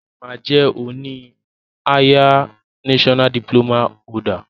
O ma jẹ oni higher national diploma holder.